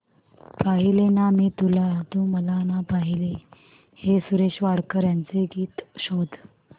पाहिले ना मी तुला तू मला ना पाहिले हे सुरेश वाडकर यांचे गीत शोध